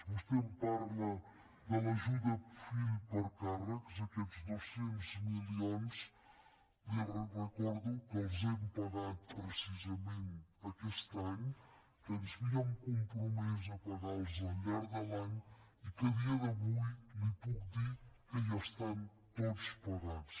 vostè em parla de l’ajuda per fill a càrrec aquests dos cents milions li recordo que els hem pagat precisament aquest any que ens havíem compromès a pagar los al llarg de l’any i que a dia d’avui li puc dir que ja estan tots pagats